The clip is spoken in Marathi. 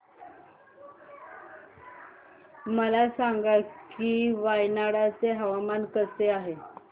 मला सांगा की वायनाड चे हवामान कसे आहे